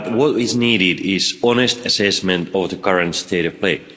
what is needed is an honest assessment of the current state of play.